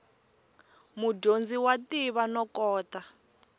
mudyondzi wa tiva no kota